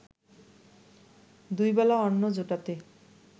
দুই বেলা অন্ন জোটাতে